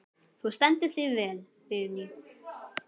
Þú stendur þig vel, Vigný!